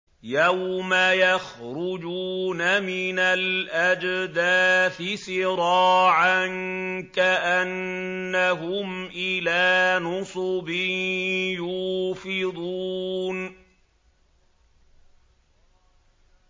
يَوْمَ يَخْرُجُونَ مِنَ الْأَجْدَاثِ سِرَاعًا كَأَنَّهُمْ إِلَىٰ نُصُبٍ يُوفِضُونَ